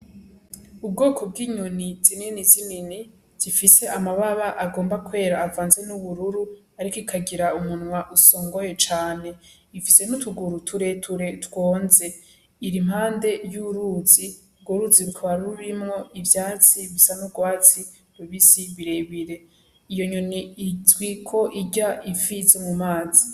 Ubwoko bw'inyoni zinini zinini, zifise amababa agomba kwera avanze n'ubururu, ariko rikagira umunwa usongoye cane, ifise n'utuguru tureture twonze, iri impande y'uruzi, urwo ruzi rukaba rurimwo ivyatsi bisa n'urwatsi rubisi birebire, iyo nyoni izwiko ko irya ifi zo mumazi.